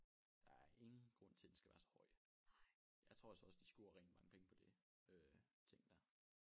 Der er ingen grund til den skal være så høj. Jeg tror altså også de scorer rigtig mange penge på det øh ting der